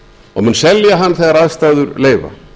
og mun selja hann þegar aðstæður leyfa